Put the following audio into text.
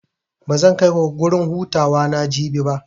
Bazan kaiku gurin hutawa na Jabi ba.